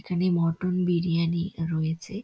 এইখানে মটন বিরিয়ানি রয়েছে-এ--